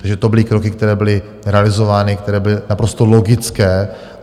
Takže to byly kroky, které byly realizovány, které byly naprosto logické.